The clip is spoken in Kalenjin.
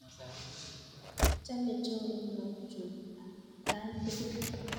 Achame choronok chuk atkan tukul.